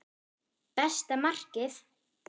Besta markið?